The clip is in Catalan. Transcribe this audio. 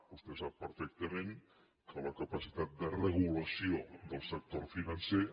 vostè sap perfectament que la capacitat de regulació del sector financer